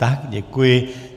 Tak, děkuji.